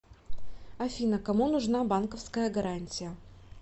афина кому нужна банковская гарантия